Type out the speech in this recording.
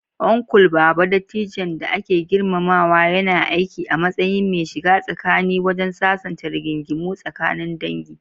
Uncle Baba, dattijon da ake girmamawa, yana aiki a matsayin mai shiga tsakani wajen sasanta rigingimu tsakanin dangi.